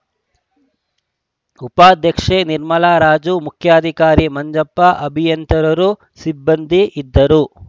ಉಪಾಧ್ಯಕ್ಷೆ ನಿರ್ಮಲಾರಾಜು ಮುಖ್ಯಾಧಿಕಾರಿ ಮಂಜಪ್ಪ ಅಭಿಯಂತರರು ಸಿಬ್ಬಂದಿ ಇದ್ದರು